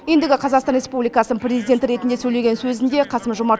ендігі қазақстан республикасының президенті ретінде сөйлеген сөзінде қасым жомарт